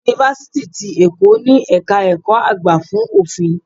Yunifásítì ti Èkó ni ẹ̀ka ẹ̀kọ́ àgbà fún Òfin.